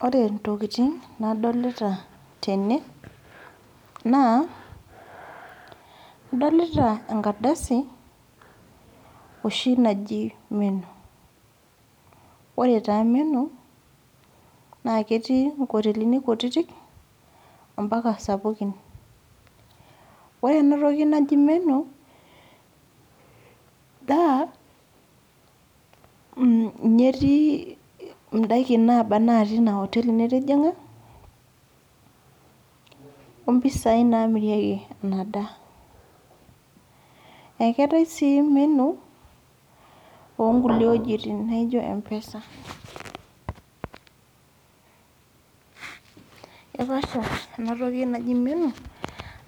Ore intokiting nadolita tene, naa ,adolita enkardasi oshi naji menu. Ore taa menu ,na ketii inkotelini kutitik, ompaka sapukin. Ore enatoki naji menu, naa ninye etii idaikin naba natii ina oteli nitijing'a, ompisai namirieki inadaa. Eketai si menu, onkulie wojiting naijo M-PESA. Kepaasha enatoki naji menu,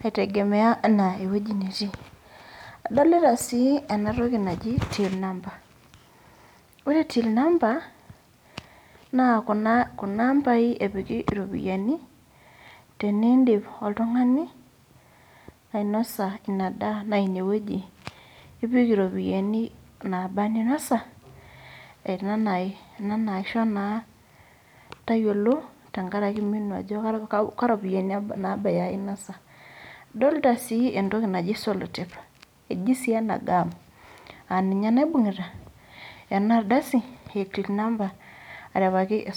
ai tegemea enaa ewueji netii. Adolita si enatoki naji till number. Ore till number, naa kuna mbai epiki iropiyiani, tenidip oltung'ani ainosa inadaa, na inewueji ipik iropiyiani naaba ninasa, ena naisho naa tayiolo tenkaraki menu ajo ka ropiyiani nabaya inasa. Adolta si entoki naji sellotape. Eji si ena gam. Aninye naibung'ita enardasi e till number, arepaki esuntai.